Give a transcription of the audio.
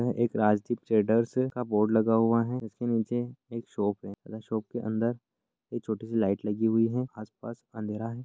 यह एक राजदीप ट्रेडर्स का बोर्ड लगा हुआ है जिसके नीचे एक शॉप है शॉप के अंदर एक छोटी -सी लाईट लगी हुई है आस -पास अंधेरा है।